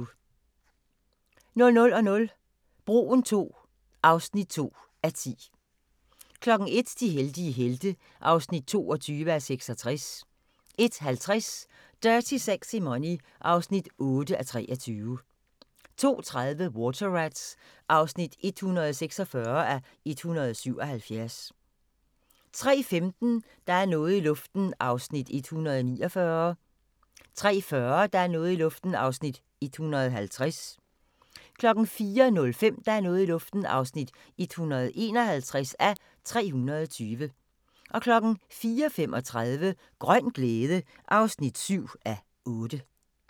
00:00: Broen II (2:10) 01:00: De heldige helte (22:66) 01:50: Dirty Sexy Money (8:23) 02:30: Water Rats (146:177) 03:15: Der er noget i luften (149:320) 03:40: Der er noget i luften (150:320) 04:05: Der er noget i luften (151:320) 04:35: Grøn glæde (7:8)